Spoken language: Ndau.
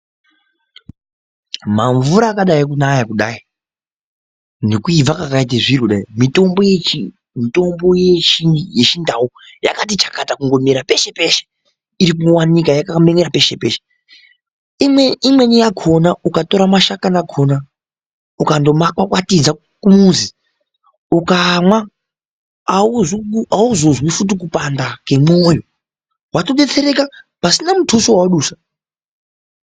Mamvuara akadai kunaya kudai, nekuibva kakaita zviro kudai, mitombo yechiNdau yakati chakata peshe-peshe, imweni yakhona ukatora mashakani akhona, ukandomakwakwatidza kumuzi, ukamwa auzozwizve kupanda kemwoyo, watodetsereka pasina muthuso wawadusa, .